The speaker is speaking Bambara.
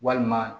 Walima